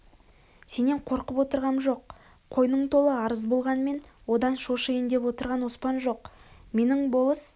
сенен қорқып отырғам жоқ қойның толы арыз болғанмен одан шошиын деп отырган оспан жоқ менің болыс